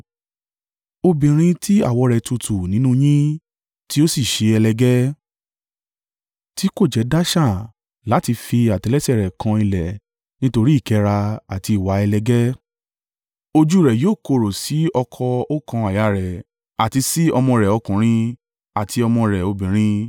Obìnrin tí àwọ̀ rẹ̀ tutù nínú yín, tí ó sì ṣe ẹlẹgẹ́, tí kò jẹ́ dáṣà láti fi àtẹ́lẹsẹ̀ ẹ rẹ̀ kan ilẹ̀ nítorí ìkẹ́ra àti ìwà ẹlẹgẹ́, ojú u rẹ̀ yóò korò sí ọkọ oókan àyà rẹ̀, àti sí ọmọ rẹ̀ ọkùnrin, àti ọmọ rẹ̀ obìnrin,